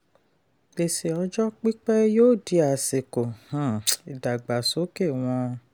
gbèsè ọjọ́ pípẹ́ yóò di àsìkò um ìdàgbàsókè wọn.